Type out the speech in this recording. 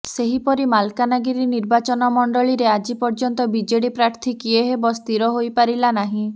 ସେହିପରି ମାଲକାନଗିରି ନିର୍ବାଚନ ମଣ୍ଡଳୀରେ ଆଜି ପର୍ଯ୍ୟନ୍ତ ବିଜେଡି ପ୍ରାର୍ଥୀ କିଏ ହେବ ସ୍ଥିର ହୋଇପାରିଲା ନାହିଁ